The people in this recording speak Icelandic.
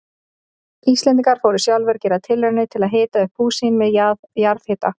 Íslendingar fóru sjálfir að gera tilraunir til að hita upp hús sín með jarðhita.